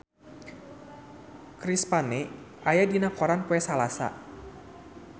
Chris Pane aya dina koran poe Salasa